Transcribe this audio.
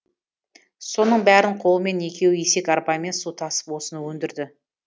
соның бәрін қолымен екеуі есек арбамен су тасып осыны өндірді